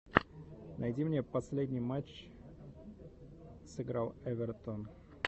найди мне последний матч сыграл эвертон